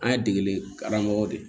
An ye degeli karamɔgɔ de